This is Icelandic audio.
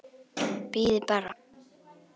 Bíðið bara.